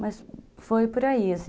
Mas foi por aí, assim.